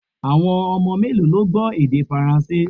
Awọn ọmọ melo lo gbọ èdè faranse?